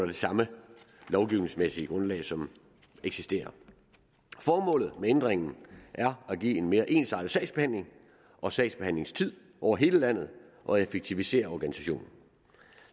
det samme lovgivningsmæssige grundlag som eksisterer formålet med ændringen er at give en mere ensartet sagsbehandling og sagsbehandlingstid over hele landet og at effektivisere organisationen